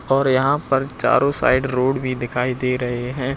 और यहां पर चारों साइड रोड भी दिखाई दे रहे हैं।